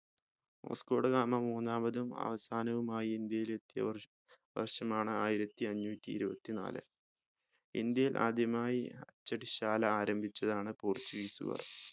Vasco da Gama മൂന്നാമതും അവസാനവുമായി ഇന്ത്യയിൽ എത്തിയ വർഷം വർഷമാണ് ആയിരത്തിഅഞ്ഞൂറ്റിഇരുപത്തിനാല് ഇന്ത്യയിൽ ആദ്യമായി അച്ചടിശാല ആരംഭിച്ചതാണ് portuguese കാർ